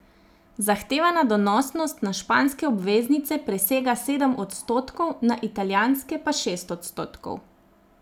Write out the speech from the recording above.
Zahtevana donosnost na španske obveznice presega sedem odstotkov, na italijanske pa šest odstotkov.